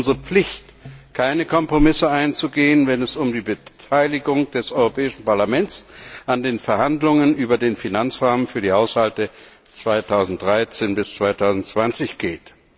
Es ist unsere Pflicht, keine Kompromisse einzugehen, wenn es um die Beteiligung des Europäischen Parlaments an den Verhandlungen über den Finanzrahmen für die Haushalte 2013 bis 2020 geht.